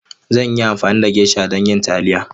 Zan yi amfani da geisha don yin taliya.